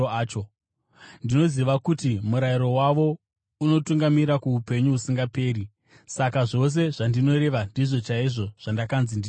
Ndinoziva kuti murayiro wavo unotungamirira kuupenyu husingaperi. Saka zvose zvandinoreva ndizvo chaizvo zvandakanzi nditaure naBaba.”